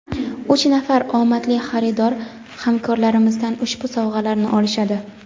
Uch nafar omadli xaridor hamkorlarimizdan ushbu sovg‘alarni olishadi.